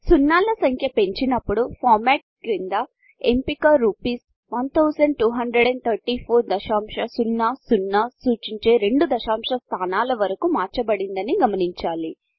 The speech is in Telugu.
సున్నాల సంఖ్య పెంచినప్పుడు Formatఫార్మ్యాట్ క్రింద ఎంపిక రూపీస్ 1234 రుపీస్ 1234దశాంశ సున్నా సున్నా సూచించే 2 దశాంశ స్థానాల వరకు మార్చబడిందని గమనించాలి